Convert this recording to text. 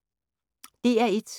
DR1